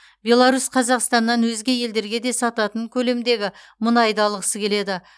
беларусь қазақстаннан өзге елдерге де сататын көлемдегі мұнайды алғысы келеді